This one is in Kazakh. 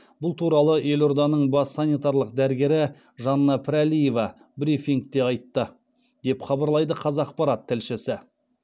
бұл туралы елорданың бас санитарлық дәрігері жанна пірәлиева брифингте айтты деп хабарлайды қазақпарат тілшісі